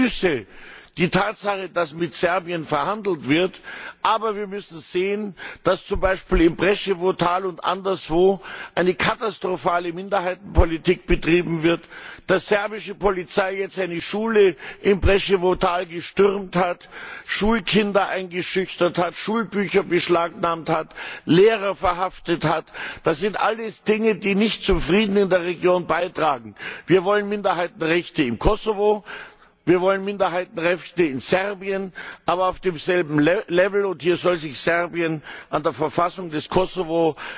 Ich begrüße die Tatsache, dass mit Serbien verhandelt wird, aber wir müssen sehen, dass zum Beispiel im Preševo Tal und anderswo eine katastrophale Minderheitenpolitik betrieben wird, dass serbische Polizei jetzt eine Schule im Preševo Tal gestürmt hat, Schulkinder eingeschüchtert hat, Schulbücher beschlagnahmt hat, Lehrer verhaftet hat das sind alles Dinge, die nicht zum Frieden in der Region beitragen. Wir wollen Minderheitenrechte im Kosovo, wir wollen Minderheitenrechte in Serbien, aber auf demselben Level, und hier soll sich Serbien an der Verfassung des Kosovo